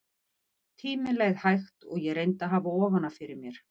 Tíminn leið hægt og ég reyndi að hafa ofan af fyrir mér.